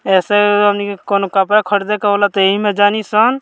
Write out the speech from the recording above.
ऐसे हमनी के कोन्हो कपड़ा खरदे कहला ता इ में जानिसन।